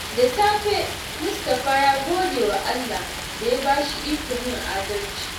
Da safe, Mustapha ya gode wa Allah da ya ba shi ikon yin adalci.